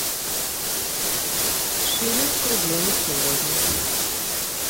шиллинг к рублю на сегодня